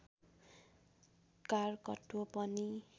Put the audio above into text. कारकत्व पनि